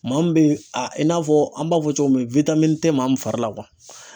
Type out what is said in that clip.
Maa min bɛ i n'a fɔ an b'a fɔ cogo min tɛ maa min fari la